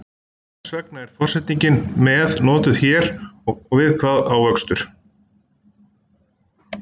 Hvers vegna er forsetningin með notuð hér og við hvað á vöxtur?